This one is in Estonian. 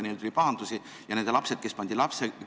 Neil tuli pahandusi ja nende lapsed pandi lastekodusse.